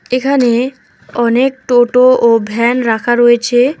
এখানে অনেক টোটো ও ভ্যান রাখা রয়েছে।